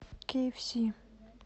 кейэфси